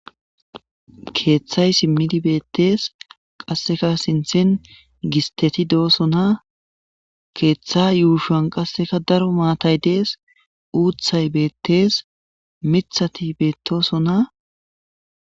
keeththay simmidi beettees qasseka sinthen gisteti doosona keeththa yuushan qasseka daro maatay dees uuthay beettees mithati beettosona.